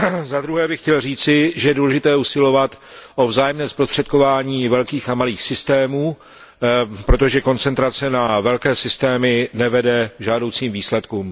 Zadruhé bych chtěl říci, že je důležité usilovat o vzájemné zprostředkování velkých a malých systémů, protože koncentrace na velké systémy nevede k žádoucím výsledkům.